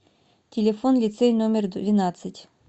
телефон лицей номер двенадцать